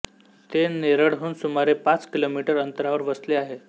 ते नेरळहून सुमारे पाच किलोमीटर अंतरावर वसले आहे